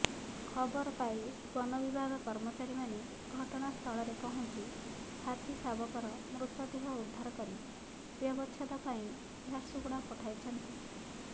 ଖବରପାଇ ବନବିଭାଗ କର୍ମଚାରୀମାନେ ଘଟଣାସ୍ଥଳରେ ପହଞ୍ଚି ହାତୀ ଶାବକର ମୃତଦେହ ଉଦ୍ଧାର କରି ବ୍ୟବଛେଦ ପାଇ ଝାରସୁଗୁଡ଼ା ପଠାଇଛନ୍ତି